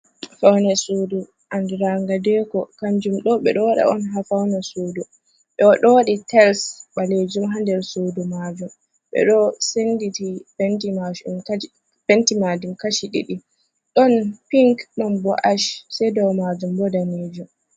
Faune sudu andi ranga deko, kanjum ɗo ɓe ɗo waɗa on ha faune sudu, ɓeɗo waɗi tels ɓalejum ha nder sudu majum, ɓe ɗo senditi penti majum kashi ɗiɗi ɗon pink ɗon bo’ash, sei ɗo majum bo ɗanejum.